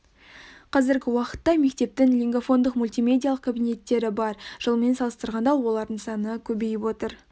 қазіргі уақытта мектептің лингафондық мультимедиалық кабинеттері бар жылмен салыстырғанда олардың саны көбейіп отыр